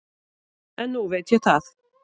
En nú veit ég það.